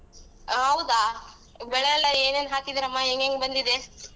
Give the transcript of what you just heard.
ಹೌದಾ ಬೆಳೆಯೆಲ್ಲ ಏನೇನ್ ಹಾಕಿದ್ದಿರಮ್ಮಾ ಹೆಂಗೆಂಗ್ ಬಂದಿದೆ?